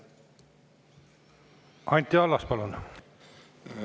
Anti Allas, palun!